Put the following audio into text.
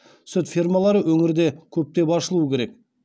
сүт фермалары өңірде көптеп ашылуы керек